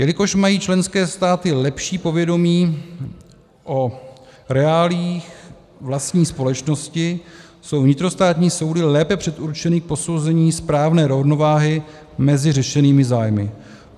Jelikož mají členské státy lepší povědomí o reáliích vlastní společnosti, jsou vnitrostátní soudy lépe předurčeny k posouzení správné rovnováhy mezi řešenými zájmy.